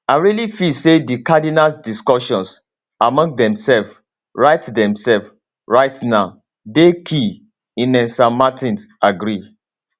i really feel say di cardinals discussions among themselves right themselves right now dey key ines san martin agree